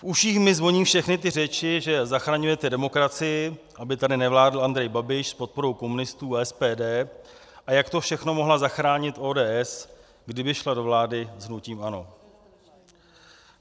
V uších mi zvoní všechny ty řeči, že zachraňujete demokracii, aby tady nevládl Andrej Babiš s podporou komunistů a SPD, a jak to všechno mohla zachránit ODS, kdyby šla do vlády s hnutím ANO.